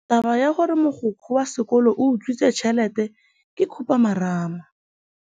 Taba ya gore mogokgo wa sekolo o utswitse tšhelete ke khupamarama.